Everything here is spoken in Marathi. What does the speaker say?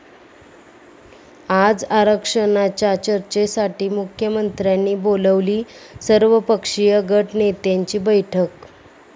आज आरक्षणाच्या चर्चेसाठी मुख्यमंत्र्यांनी बोलावली सर्वपक्षीय गटनेत्यांची बैठक